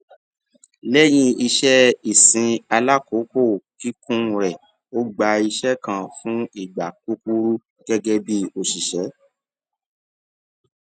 léyìn iṣé ìsìn alákòókò kíkún rè ó gba iṣé kan fún ìgbà kúkúrú gégé bí òṣìṣé